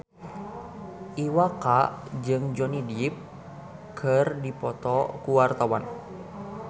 Iwa K jeung Johnny Depp keur dipoto ku wartawan